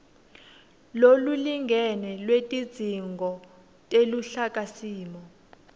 lolulingene lwetidzingo teluhlakasimo